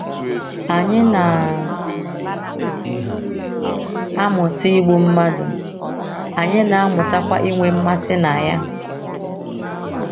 Anyị na - amụta igbu mmadụ, anyị na - amụtakwa inwe mmasị na ya. ”